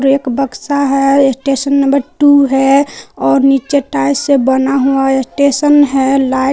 एक बक्सा है एक स्टेशन नंबर टू है और नीचे टाइल से बना हुआ स्टेशन है लाइट --